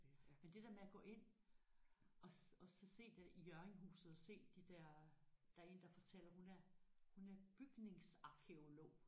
Men det der med at gå ind og og så se der i Hjørringhuset og se de der der er en der fortæller hun er hun er bygningsarkæolog